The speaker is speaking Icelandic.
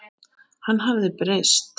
Hann hafði breyst.